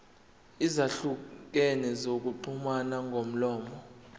ezahlukene zokuxhumana ngomlomo